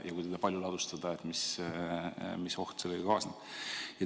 Ja kui teda palju ladustada, siis mis oht sellega kaasneb?